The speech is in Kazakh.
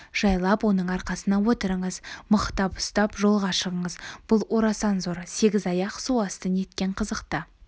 жайлап оның арқасына отырыңыз мықтап ұстап жолға шығыңыз бұл орасан зор сегізаяқ су асты неткен қызықты